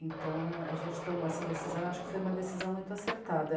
Então, é... a gente tomou essa decisão, acho que foi uma decisão muito acertada.